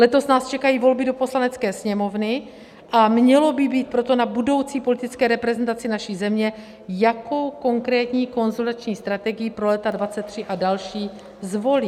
Letos nás čekají volby do Poslanecké sněmovny, a mělo by být proto na budoucí politické reprezentaci naší země, jakou konkrétní konsolidační strategii pro léta 2023 a další zvolí.